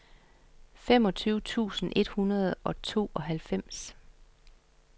femogtyve tusind et hundrede og tooghalvfems